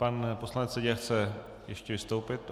Pan poslanec Seďa chce ještě vystoupit.